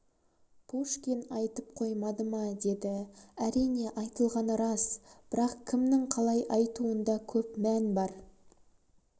пушкин айтып қоймады ма деді әрине айтылғаны рас бірақ кімнің қалай айтуында көп мән бар